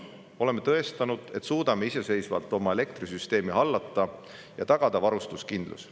Oleme tõestanud, et suudame iseseisvalt oma elektrisüsteemi hallata ja tagada varustuskindluse.